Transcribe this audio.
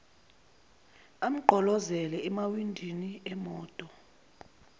amgqolozele emawindini emoto